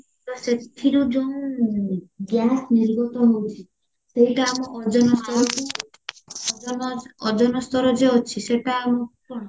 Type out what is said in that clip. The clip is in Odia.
ତ ସେଥିରୁ ଯେଉଁ gas ଗୁଡା ନିର୍ଗତ ହଉଚି ସେଇଟା ଆମ ଓଜନ ସ୍ଥଳକୁ ଓଜନ ଓଜନ ସ୍ତର ଯୋଉ ଅଛି ସେଟା ଆଉ କଣ